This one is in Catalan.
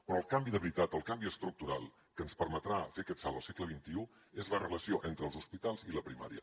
però el canvi de veritat el canvi estructural que ens permetrà fer aquest salt al segle xxi és la relació entre els hospitals i la primària